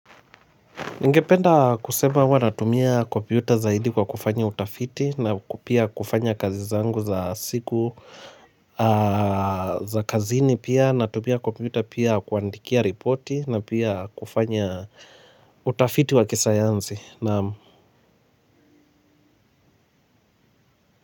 Ningependa kusema, huwa natumia kompyuta zaidi kwa kufanya utafiti na kupia kufanya kazizangu za siku za kazini pia, natumia kompyuta pia kuandikia ripoti na pia kufanya utafiti wa kisayansi, nam.